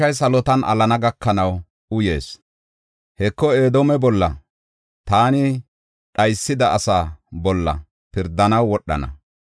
Ta mashshay salotan alana gakanaw uyis; Heko Edoome bolla, taani dhaysida asaa bolla pirdanaw wodhana.